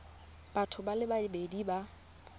batho ba le babedi ba